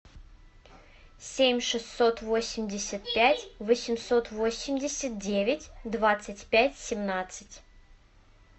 семь шестьсот восемьдесят пять восемьсот восемьдесят девять двадцать пять семнадцать